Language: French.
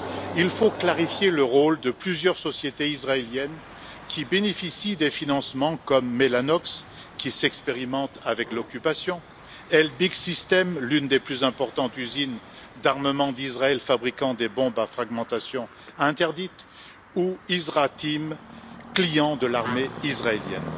Il faut clarifier le rôle de plusieurs sociétés israéliennes qui bénéficient des financements, comme Mellanox, qui expérimente avec l'occupation, Elbit Systems, l'une des plus importantes usines d'armement d'Israël fabriquant des bombes à fragmentation interdites, ou IsraTeam, client de l'armée israélienne.